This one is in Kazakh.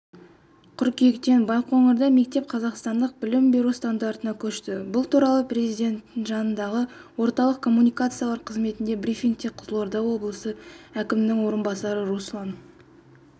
қыркүйектен байқоңырда мектеп қазақстандық білім беру стандартына көшті бұл туралы президенті жанындағы орталық коммуникациялар қызметіндегі брифингте қызылорда облысы әкімінің орынбасары руслан